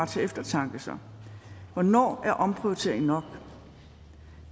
til eftertanke så hvornår er omprioritering nok